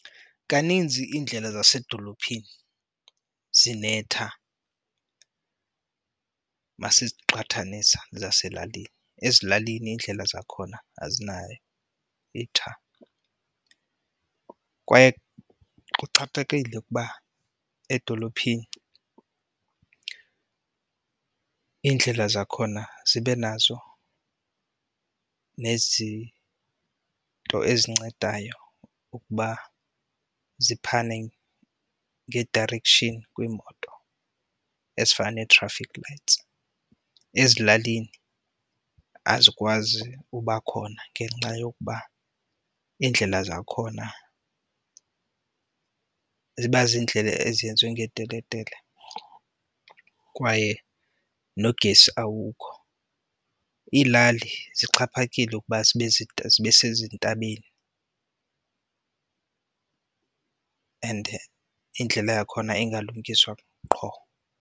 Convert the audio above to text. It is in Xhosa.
Kaninzi iindlela zasedolophini zinetha uma siziqhathanisa zaselalini, ezilalini iindlela zakhona azinayo itha. Kwaye kuxhaphakile ukuba edolophini iindlela zakhona zibe nazo nezinto ezincedayo ukuba ziphane nge-direction kwiimoto ezifana nee-traffic lights. Ezilalini azikwazi uba khona ngenxa yokuba iindlela zakhona ziba ziindlela ezenziwe ngeteletele kwaye nogesi awukho. Iilali zixhaphakileyo ukuba zibe zibe sezintabeni and indlela yakhona ingalungiswa qho.